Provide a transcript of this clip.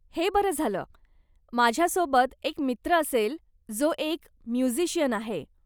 हे बरं झालं, माझ्या सोबत एक मित्र असेल जो एक म्युजीशियन आहे.